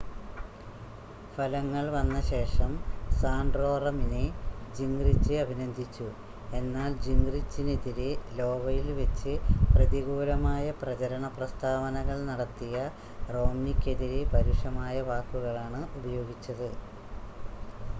ഫലങ്ങൾ വന്നശേഷം സാൻ്റോറമിനെ ജിംങ്റിച് അഭിനന്ദിച്ചു എന്നാൽ ജിംങ്റിചിനെതിരെ ലോവയിൽ വെച്ച് പ്രതികൂലമായ പ്രചരണ പ്രസ്താവനകൾ നടത്തിയ റോംനിക്കെതിരെ പരുഷമായ വാക്കുകളാണ് ഉപയോഗിച്ചത്